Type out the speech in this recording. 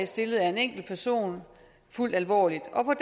stilles af en enkeltperson fuldt alvorligt og på